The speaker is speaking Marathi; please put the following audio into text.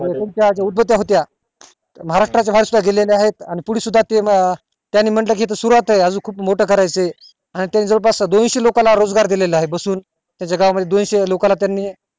उदबत्या होत्या त्या महाराष्ट्र बाहेर सुद्धा गेलेल्या येत आणि पुढे सुद्धा त्यांनी म्हटलं हि त सुरुवात आहे अजून खूप मोठं करायचंय आणि त्यांनी जवळ पास दोनशे लोकांना रोजगार दिलेला आहे बसून या जागा मध्ये दोनशे लोकांना त्यांनी